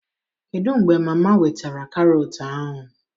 Kedu mgbe mama wetara Carrot ahụ?